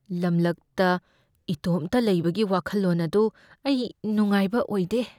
ꯂꯝꯂꯛꯇ ꯏꯇꯣꯝꯇ ꯂꯩꯕꯒꯤ ꯋꯥꯈꯜꯂꯣꯟ ꯑꯗꯨ ꯑꯩ ꯅꯨꯡꯉꯥꯏꯕ ꯑꯣꯏꯗꯦ ꯫